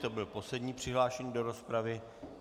To byl poslední přihlášený do rozpravy.